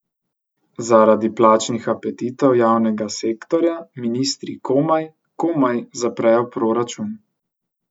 Zaradi plačnih apetitov javnega sektorja ministri komaj, komaj zaprejo proračun.